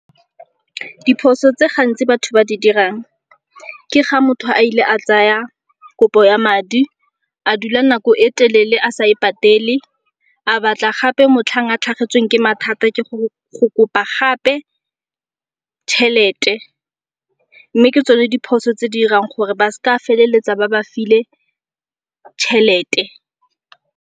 Diphoso tse gantsi batho ba di dirang ke ga motho a ile a tsaya kopo ya madi a dula nako e telele a sa e patele. A batla gape motlhang a tlhagetsweng ke mathata go kopa gape tšhelete, mme ke tsone diphoso tse di irang gore ba s'ka feleletsa ba bafile tšhelete.